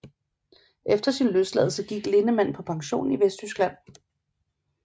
Efter sin løsladelse gik Lindemann på pension i Vesttyskland